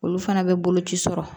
Olu fana bɛ boloci sɔrɔ